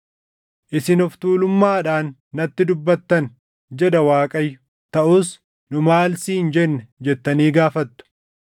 “Isin of tuulummaadhaan natti dubbattan” jedha Waaqayyo. “Taʼus, ‘Nu maal siin jenne?’ jettanii gaafattu.